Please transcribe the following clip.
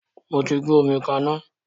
Mo tí gbé omi ká iná